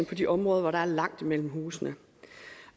til de områder hvor der er langt mellem husene